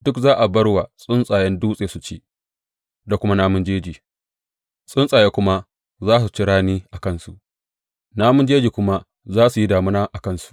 Duk za a bar su wa tsuntsayen dutse su ci da kuma namun jeji; tsuntsaye kuma za su ci rani a kansu, namun jeji kuma za su yi damina a kansu.